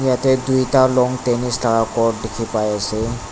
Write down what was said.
ete duita long tennis laga chort dekhi pai ase.